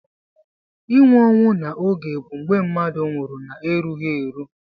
Inwụ onwụ na oge bu mgbe mmadu nwurụ na erughi eru.